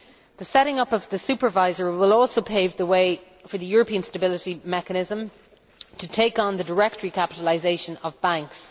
The setting up of the supervisor will also pave the way for the European Stability Mechanism to take on the direct recapitalisation of banks.